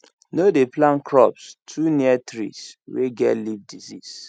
no dey plant crops too near trees wey get leaf disease